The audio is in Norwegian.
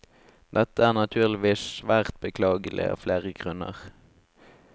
Dette er naturligvis svært beklagelig av flere grunner.